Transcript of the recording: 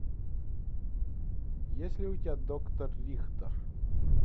есть ли у тебя доктор рихтер